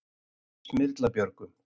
Smyrlabjörgum